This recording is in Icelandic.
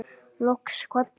Loks kvaddi